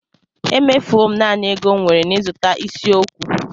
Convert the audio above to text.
Emefuwo m naanị ego m nwere n'ịzụta isi okwu.